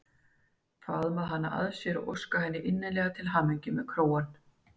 Faðma hana að sér og óska henni innilega til hamingju með krógann.